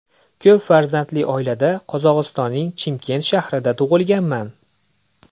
Ko‘p farzandli oilada Qozog‘istonning Chimkent shahrida tug‘ilganman.